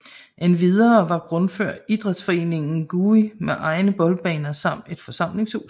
Endvidere har Grundfør idrætsforeningen GUI med egne boldbaner samt et forsamlingshus